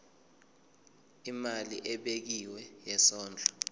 imali ebekiwe yesondlo